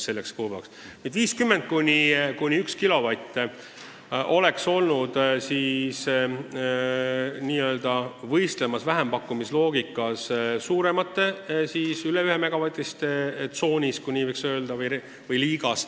Seadmed vahemikus 50 kilovatti kuni 1 megavatt oleks siis vähempakkumiste loogikas olnud n-ö võistlemas suuremate, üle 1-megavatiste liigas, kui nii võiks öelda.